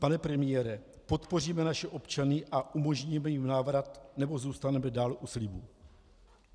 Pane premiére, podpoříme naše občany a umožníme jim návrat, nebo zůstaneme dále u slibů?